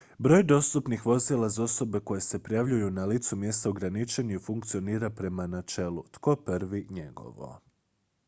"broj dostupnih dozvola za osobe koje se prijavljuju na licu mjesta ograničen je i funkcionira prema načelu "tko prvi njegovo"".